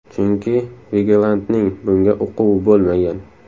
Chunki Vigelandning bunga uquvi bo‘lmagan.